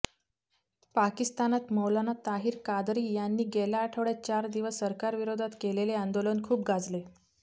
पाकिस्तानात मौलाना ताहीर कादरी यांनी गेल्या आठवड्यात चार दिवस सरकारविरोधात केलेले आंदोलन खूप गाजले